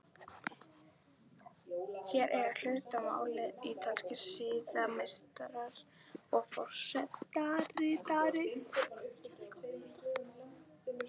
Hér eiga hlut að máli ítalskir siðameistarar og forsetaritari.